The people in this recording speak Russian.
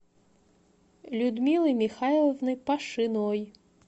людмилой михайловной пашиной